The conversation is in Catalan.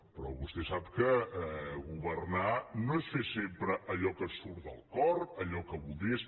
però vostè sap que governar no és fer sempre allò que et surt del cor allò que voldries